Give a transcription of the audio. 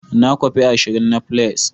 Na kwafi ashirin na fliers.